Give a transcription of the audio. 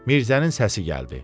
Mirzənin səsi gəldi.